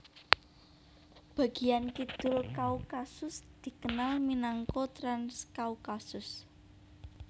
Bagian kidul Kaukasus dikenal minangka Transkaukasus